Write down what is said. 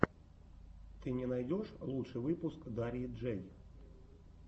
ты мне найдешь лучший выпуск дарьи джэй